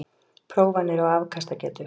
Prófanir á afkastagetu